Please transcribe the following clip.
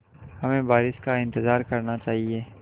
हमें बारिश का इंतज़ार करना चाहिए